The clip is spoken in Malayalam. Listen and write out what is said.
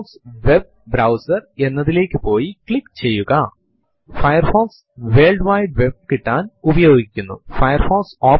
prompt ൽ date space plus percentage sign small y എന്ന് ടൈപ്പ് ചെയ്തു എന്റർ അമർത്തുക